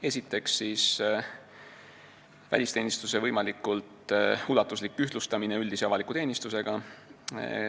Esiteks, välisteenistuse võimalikult ulatuslik ühtlustamine üldise ja avaliku teenistusega.